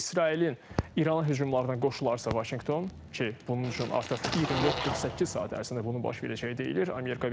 İsrailin İrana hücumlarına qoşularsa Vaşinqton ki, bunun üçün artıq 24-48 saat ərzində bunun baş verəcəyi deyilir.